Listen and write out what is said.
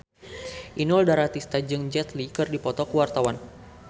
Inul Daratista jeung Jet Li keur dipoto ku wartawan